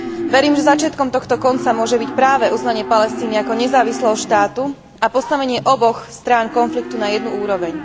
Verím, že začiatkom tohto konca môže byť práve uznanie Palestíny ako nezávislého štátu a postavenie oboch strán konfliktu na jednu úroveň.